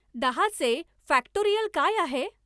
दहाचे फॅक्टोरियल काय आहे